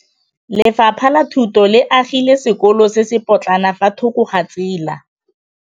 Lefapha la Thuto le agile sekôlô se se pôtlana fa thoko ga tsela.